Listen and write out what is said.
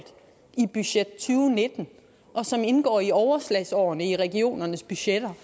i budget to nitten og som indgår i overslagsårene i regionernes budgetter